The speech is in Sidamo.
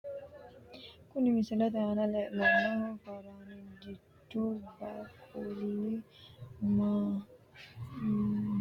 Kuni misilete aana la`nemohu faranjichu baaquli manaho baadiyete ikko quchumaho saga`linani sagalera qaamatoteno ikko itateno horonsinanihu faranjichu baaquli leelanonke yaate.